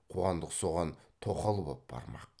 қуандық соған тоқал боп бармақ